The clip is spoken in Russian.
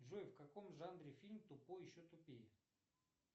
джой в каком жанре фильм тупой еще тупее